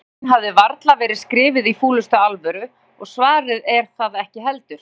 Spurningin hefur varla verið skrifuð í fúlustu alvöru og svarið er það ekki heldur.